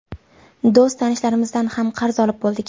Do‘st tanishlarimizdan ham qarz olib bo‘ldik.